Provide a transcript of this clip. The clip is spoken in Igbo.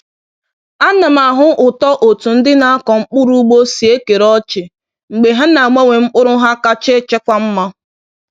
A na m ahụ ụtọ otú ndị na-akọ mkpụrụ ugbo si ekere ọchị mgbe ha na-agbanwe mkpụrụ ha kacha echekwa mma.